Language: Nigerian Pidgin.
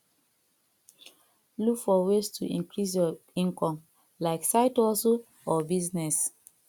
look for ways to increase your income like side hustle or business